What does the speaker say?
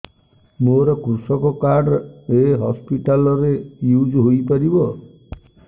ମୋର କୃଷକ କାର୍ଡ ଏ ହସପିଟାଲ ରେ ୟୁଜ଼ ହୋଇପାରିବ